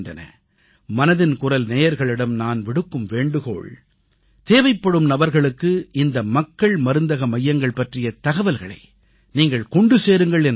மனதின் குரல் நேயர்களிடம் நான் விடுக்கும் வேண்டுகோள் தேவைப்படும் நபர்களுக்கு இந்த மக்கள் மருந்தக மையங்கள் பற்றிய தகவலை நீங்கள் கொண்டு சேருங்கள் என்பது தான்